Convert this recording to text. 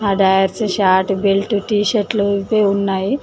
ఆ దయర్స్ shorts belt టి షర్ట్లు ఇవే ఉన్నాయి